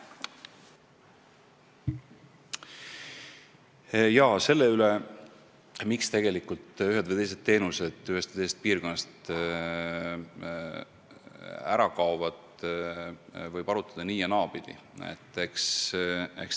Selle üle, miks ühed või teised teenused ühest või teisest piirkonnast ära kaovad, võib arutada nii- ja naapidi.